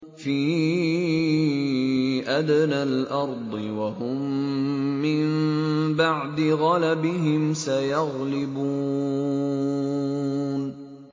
فِي أَدْنَى الْأَرْضِ وَهُم مِّن بَعْدِ غَلَبِهِمْ سَيَغْلِبُونَ